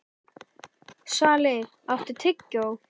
Svali, áttu tyggjó?